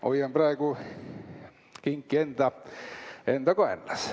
Hoian praegu kinki enda kaenlas.